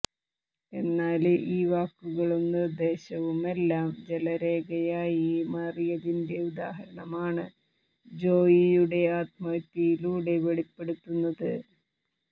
എന്നാല് ഈ വാക്കുകളും നിര്ദ്ദേശവുമെല്ലാം ജലരേഖയായി മാറിയതിന്റെ ഉദാഹരണമാണ് ജോയിയുടെ ആത്മഹത്യയിലൂടെ വെളിപ്പെടുന്നത്